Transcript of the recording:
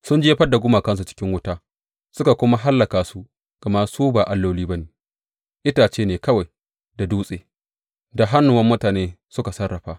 Sun jefar da gumakansu cikin wuta suka kuma hallaka su, gama su ba alloli ba ne itace ne kawai da dutse, da hannuwan mutane suka sarrafa.